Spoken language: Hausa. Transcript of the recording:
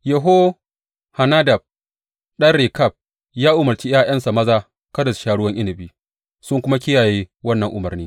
Yehonadab ɗan Rekab ya umarci ’ya’yansa maza kada su sha ruwan inabi sun kuma kiyaye wannan umarni.